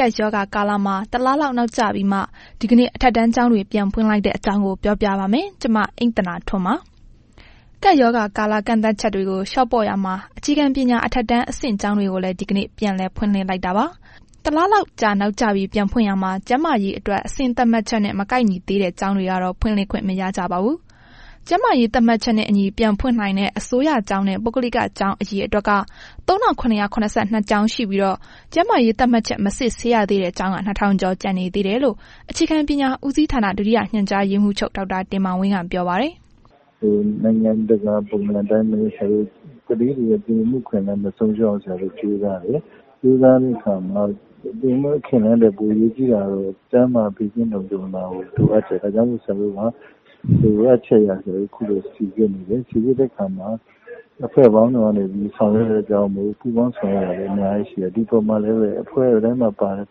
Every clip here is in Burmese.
ကပ်ရောဂါကာလမှာ တလလောက် နောက်ကျပြီးမှ ဒီကနေ့ အထက်တန်းကျောင်းတွေ ပြန်ဖွင့်လိုက်တဲ့အကြောင်းကို ဗွီအိုအေ မြန်မာပိုင်းသတင်းထောက် မအိမ့်သန္တာထွန်းက ပြောပြပါမယ်။ ကပ်ရောဂါကာလ ကန့်သတ်ချက်တွေကို လျှော့ပေါ့နေရာမှာ အခြေခံပညာ အထက်တန်းအဆင့် ကျောင်းတွေကိုလည်း ဒီကနေ့ ပြန်လည် ဖွင့်လှစ်လိုက်တာပါ။ တလလောက်ကြာ နောက်ကျပြီး ပြန်ဖွင့်ရာမှာ ကျန်းမာရေးအတွက် အဆင့်သတ်မှတ်ချက်နဲ့ မကိုက်ညီသေးတဲ့ ကျောင်းတွေကတော့ ဖွင့်လှစ်ခွင့်မရကြပါဘူး။ ကျန်းမာရေး သတ်မှတ်ချက်နဲ့အညီ ပြန်ဖွင့်နိုင်တဲ့ အစိုးရကျောင်းနဲ့ ပုဂ္ဂလိကကျောင်း အရေအတွက်က ၃,၇၇၂ ကျောင်းရှိပြီးတော့ ကျန်းမာရေးသတ်မှတ်ချက် မစစ်ဆေးရသေးတဲ့ ကျောင်းက ၂,၀၀၀ ကျော်ကျန်နေသေးတယ်လို့ အခြေခံပညာဦးစီဌာန ဒုတိယ ညွှန်ကြားရေးမှုးချုပ် ဒေါက်တာတင်မောင်ဝင်းက ပြောပါတယ်။ “နိုင်ငံတကာပုံစံအတိုင်းပဲ ဆရာတို့ ကလေးတွေရဲ့ သင်ယူမှုအခွင့်အလမ်း မဆုံးရှုံးအောင် ဆရာတို့ကြိုးစားတယ်။ ကြိုးစားတဲ့အခါမှာ သင်ယူမှု အခွင့်အလမ်းထက် အရေးကြီးတာကတော့ ကျန်းမာရေးနဲ့ ဘေးကင်းလုံခြုံတာကို လိုအပ်တယ်၊ ဒါကြောင့်မို့လို့လည်း ဆရာတို့မှာ လိုအပ်ချက်အရ စိစစ်တယ်။ စိစစ်တဲ့အခါမှာ အဖွဲ့ပေါင်း စုံကနေပြီး ဆောင်ရွက်တဲ့ အတွက်ကြောင့်မို့လို့ ပူးပေါင်းဆောင်ရွက်တာတွေအများကြီးရှိတယ်။ ဒီအပေါ်မှာ လည်းပဲ အဖွဲတိုင်းမှာပါတဲ့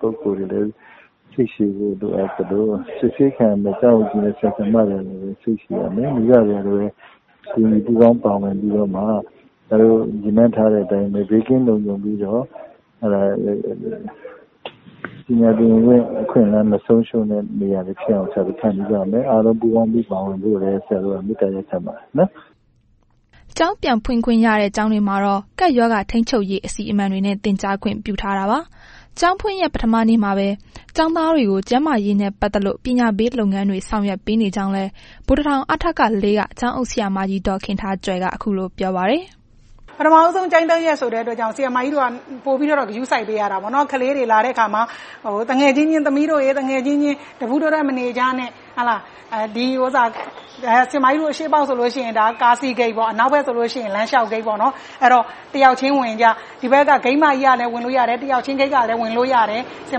ပုဂ္ဂိုလ်တွေကလည်းပဲ စိတ်ရှည်ဖို့ လိုအပ်သလို စစ်ဆေးခံရမယ့် ကျောင်းအုပ်ကြီးနဲ့ ဆရာဆရာမတွေကလည်းပဲ စိတ်ရှည်ရမယ်။ မိဘတွေကလည်းပဲ ပါဝင်ပူးပေါင်းပြီးတော့မှ ဆရာတို့ရည်မှန်းထားတဲ့အတိုင်းပဲ ဘေးကင်းလုံခြုံပြီးတော့ ပညာသင်ယူမှု အခွင့်အလမ်းမဆုံးရှုံးတဲ့ နေရာဖြစ်အောင် ဆရာတို့ ဖန်တီးရမယ်။ အားလုံးပူးပေါင်းပါဝင်ဖို့လည်း ဆရာတို့ မေတ္တာရပ်ခံပါတယ်။” ကျောင်းပြန်ဖွင့်ခွင့်ရတဲ့ ကျောင်းတွေမှာတော့ ကပ်ရောဂါထိန်းချုပ်ရေး အစီအမံတွေနဲ့ သင်ကြားခွင့်ပြုထားတာပါ။ ကျောင်းဖွင့်ရက် ပထမနေ့မှာပဲ ကျောင်းသားတွေကို ကျန်းမာရေးနဲ့ ပတ်သက်လို့ ပညာပေးလုပ်ငန်းတွေ ဆောင်ရွက်ပေးနေကြောင်းလည်း ဗိုလ်တထောင် အထက ၄ က ကျောင်းအုပ်ဆရာမကြီး ဒေါ်ခင်ထားကြွယ်က ခုလို ပြောပါတယ်။ “ပထမဦးဆုံးကျောင်းတက်ရက်ဆိုတဲ့အတွက်ကြောင့် ဆရာမကြီးတို့က ပိုပြီးတော့ ဂရုစိုက်ပေးရတာပေါ့နော်။ ကလေးတွေလာတဲ့အခါမှာ သမီးတို့ရယ် သူငယ်ချင်းအချင်းချင်း တပူးတွဲတွဲ မနေကြနဲ့၊ ဆရာမကြီးတို့ ဒီ အရှေ့ပေါက်ဆိုလို့ရှိရင် ကားစီးဂိတ် အနောက်ပေါက်ဆိုလို့ရှိရင် လမ်းလျှောက်ဂိတ်ပေါ့။ အဲ့တော့ တစ်ယောက်ချင်းဝင်ကြ ဂိတ်မကြီးကလည်းဝင်လို့ရတယ် နောက်ဘက်ဂိတ်ကလည်း ဝင်လို့ရတယ်၊ ဆရာ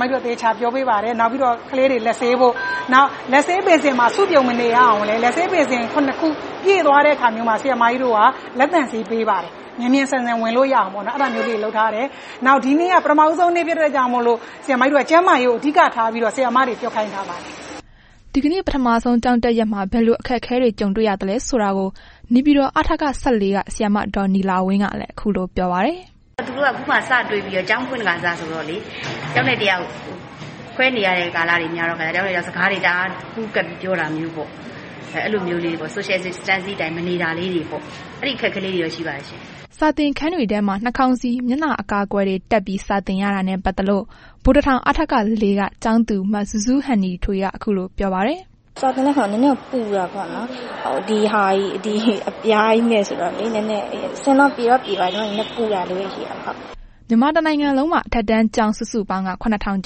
မကြီးတို့ သေချာပြောပေးပါတယ်၊ နောက်ပြီးတော့ကလေးတွေ လက်ဆေးဖို့၊ လက်ဆေးဘေစင်မှာ စုပြုံမနေဖို့ လက်ဆေးဘေစင် ၇ ခုမှာ ပြည့်သွားတဲ့အခါ လက်သန့်ဆေး ပေးပါတယ်။ မြန်မြန်ဆန်ဆန်ဝင်လို့ရအောင်ပေါ့နော်၊ အဲ့ဒါမျိုးလေးတွေလုပ်ထားတယ်။ နောက်ဒီနေ့က ပထမဦးဆုံးနေ့ ဖြစ်တဲ့အတွက်ကြောင့်မို့လို့ ကျန်းမာရေးကို အဓိကထားပြီးတော့ ဆရာမတွေကို ပြောခိုင်းထားပါတယ်။” ဒီကနေ့ ပထမဆုံးကျောင်းတက်ရက်မှာ ဘယ်လို အခက်အခဲတွေ ကြုံတွေ့ရသလဲဆိုတာကိုလည်း နေပြည်တော် အထက ၁၄ က ဆရာမ ဒေါ်နီလာဝင်းကလည်း ခုလိုပြောပြပါတယ်။ “သူတို့က ခုမှာ စတွေ့ခါစ ကျောင်းဖွင့်ခါစဆိုတော့လေ၊ တစ်ယောက်နဲ့ တစ်ယောက်ခွဲနေရတဲ့ ကာလက များတဲ့ခါကျတော့ တစ်ယောက်နဲ့တစ်ယောက်ပူးကပ်ပြီး စကားတွေအများကြီးပြောတာမျိုးပေါ့။ အဲ့ဒါမျိုးလေးတွေပေါ့၊ Social Distancing အတိုင်းမနေတာလေးတွေပေါ့၊ အဲ့ဒီအခက်အခဲလေးတွေတော့ ရှိပါတယ်ရှင့်။” စာသင်ခန်းတွေထဲမှာ နှာခေါင်းစည်း၊ မျက်နှာအကာအကွယ်တွေ တပ်ထားပြီး စာသင်ရတာနဲ့ ပတ်သက်လို့ ဗိုလ်တထောင် အထက ၄ က ကျောင်းသူ မဇူးဇူးဟန်နီထွေးက ခုလိုပြောပါတယ်။ “စာသင်တဲ့အခါ နည်းနည်းတော့ ပူတာပေါ့နော်၊ ဒီအပြားကြီးနဲ့ဆိုတော့ နည်းနည်း၊ အဆင်တော့ ပြေတော့ပြေပါတယ်၊ နည်းနည်းပူတာလေးပဲ ရှိတာပါ။” မြန်မာတစ်နိုင်ငံလုံးမှာ အထက်တန်းကျောင်း စုစုပေါင်းက ၇,၀၀၀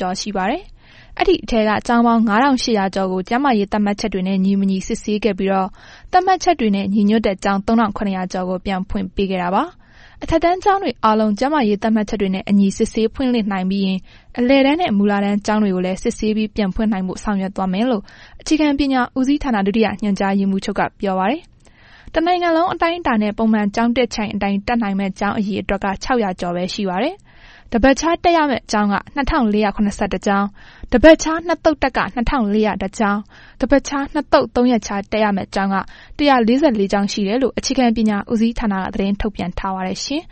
ကျော်ရှိပါတယ်။ အဲ့ဒီထဲက ကျောင်းပေါင်း ၅,၈၀၀ ကျော်ကို ကျန်းမာရေးသတ်မှတ်ချက်တွေနဲ့ ညီမညီစစ်ဆေးခဲ့ပြီးတော့ သတ်မှတ်ချက်တွေနဲ့ ညီညွှတ်တဲ့ ကျောင်း ၃,၇၀၀ ကျော်ကို ပြန်ဖွင့်ခွင့်ပေးခဲ့တာပါ။ အထက်တန်းကျောင်းတွေအားလုံး ကျန်းမာရေးသတ်မှတ်ချက်တွေနဲ့အညီ စစ်ဆေးဖွင့်လှစ်နိုင်ပြီးရင် အလယ်တန်းနှင့် မူလတန်းကျောင်းတွေကိုလည်း စစ်ဆေးပြီး ပြန်ဖွင်နိုင်ဖို့ ဆောင်ရွက်သွားမယ်လို့ အခြေခံပညာဦးစီးဌာန ဒုတိယညွှန်ကြားရေးမှူးက ပြောပါတယ်။ တစ်နိုင်ငံလုံးအတိုင်းအတာနဲ့ ပုံမှန်ကျောင်းတက်ချိန်အတိုင်းတက်နိုင်မယ့် ကျောင်းအရအေတွက်က ၆၀၀ ကျော်ပဲရှိပါတယ်။ တစ်ပတ်ခြားတက်ရမယ့် ကျောင်းက ၂,၄၇၁ ကျောင်း၊ တစ်ပတ်ခြား နှစ်သုတ်တက်က ၂,၄၀၁ ကျောင်း တစ်ပတ်ခြားနှစ်သုတ် ၃ရက်ခြား တက်ရမယ့် ကျောင်းက ၁၄၄ ကျောင်းရှိတယ်လို့ အခြေခံပညာဦးစီးဌာနက သတင်းထုတ်ပြန်ထားပါတယ်ရှင်။